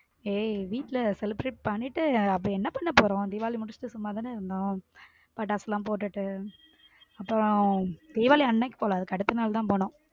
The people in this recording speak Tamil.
ஏய் வீட்ல celebrate பண்ணிட்டு அப்படி என்ன பண்ணப் போறோம் தீபாவளி முடிச்சுட்டு சும்மா தானே இருந்தோம் பட்டாசு full ஆ போட்டுட்டு அப்புறம் தீபாவளி அன்னைக்கு போல அடுத்த நாள் தான் போனோம்.